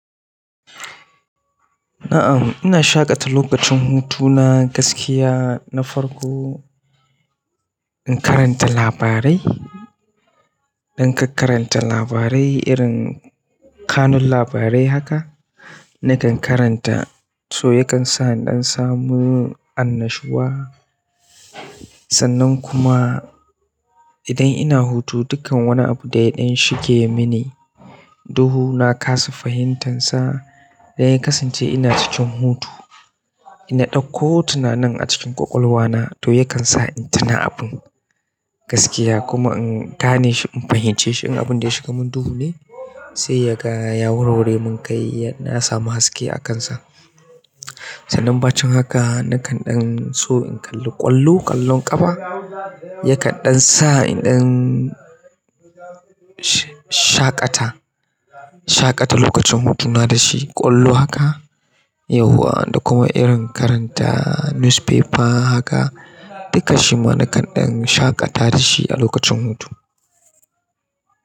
Am ina shaƙata lokacin hutuna gaskiya na farko in karanta labarai don ka karanta labarai irin kanun labarai haka nakan karanta su yakan sa in ɗan samu annashuwa. Sannan kuma idan ina hutu dukkan wani abu da ya ɗan shige mini duhu na kasa fahimtansa da ya kasance ina cikin hutu. Na ɗakko tunanin a cikin ƙwaƙwalwa na ya kansa na tuna abin gaskiya kuma in gane shi in fahimce shi in abun da ya shiga mun duhu ne sai ya ga ya wurwure mun kai na samu haske a kansa. Sannan bacin haka nakan ɗan so in kalli ƙwallo ƙwallon ƙafa ya kaɗan sa in ɗan shaƙata, shaƙata lokacin hutuna da shi ƙwallo haka yauwa da kuma irin karanta newspaper haka duka shi ma nakan ɗan shaƙata da shi a lokacin hutu.